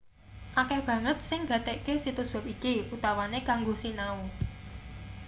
akeh banget sing nggatekke situs web iki utamane kanggo sinau